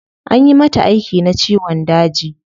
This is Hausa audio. Anyi mata aiki na ciwon daji